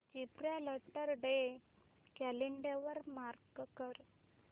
Gibraltar day calendar वर mark कर